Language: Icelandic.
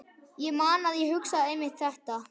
Ég man að ég hugsaði einmitt þetta.